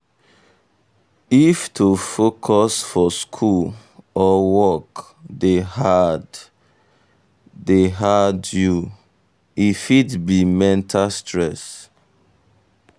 if to focus for school or work dey hard um dey hard um you um e fit be mental stress.